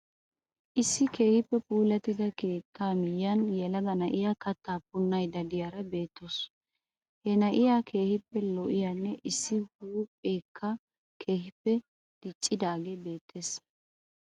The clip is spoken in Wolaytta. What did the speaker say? Issi keehippe puullatida keettaa miyyiyan yelaga na'iya kattaa punnayidda de'iyaara beettawus. Ha nayyiya keehippe lo'iyanne issi huupheekka keehippe diccidaagee beettees.